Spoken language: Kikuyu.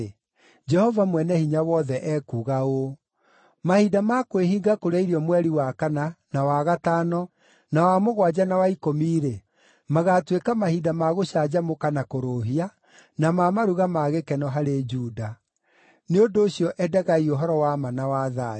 Jehova Mwene-Hinya-Wothe ekuuga ũũ: “Mahinda ma kwĩhinga kũrĩa irio mweri wa kana, na wa gatano, na wa mũgwanja na wa ikũmi-rĩ, magaatuĩka mahinda ma gũcanjamũka na kũrũũhia, na ma maruga ma gĩkeno harĩ Juda. Nĩ ũndũ ũcio endagai ũhoro wa ma na wa thayũ.”